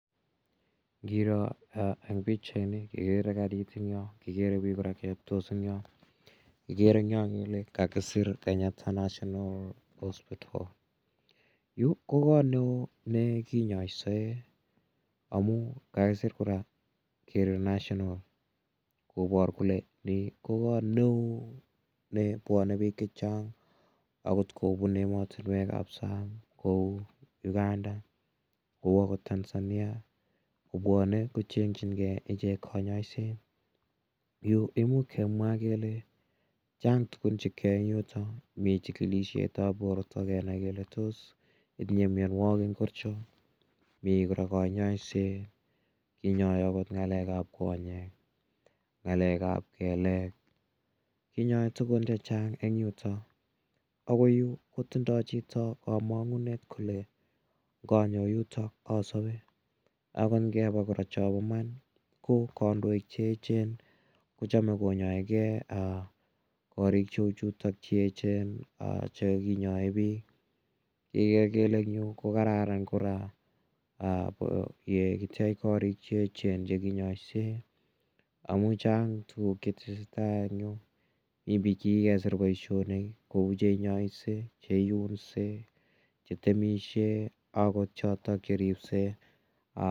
Ngiro en pichaini kekere karit en yo, kikere piik kora che patos en yo. Kikere koryoel eng' yo kele kakisir Kenyatta National Hospital. Yu ko kot ne oo ne kinyaishe amun kakisir kora kole "national" kopar kele ni ko kot ne oo ne pwane piik che chang' agot kopun ematunwek ap sang' kou Uganda, kou agot Tanzania, kopwane kocheng'chin gei ichek kanyaiset amun imuch kemwa kele chang' tugun che keyae en yutok, mi chikilidhet ap porto kenai kele tos itinye mianwem ngircho. Mi kora kanyaiset, inyai agot nge ap konyek, ng'alek ap keleek. Kinyai tugun che chabg' eng' yutok. Ako yu ko tindai chito kamang'unet kole nganyo yutok asape ako ngepa kora chapa man ko kandojk che echen ko chame konyaegei koriik cheu chutok che echen che kinyae piik. Igere kolr en yu ko kararan kora ye kitech korik che echen che kinyaisei amun chang' tuguk che tese tai en yu. Mi piik che kikesir poishonik kou che inyaisei che iunsei, che temishei akot chotok che ripsei.